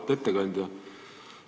Auväärt ettekandja!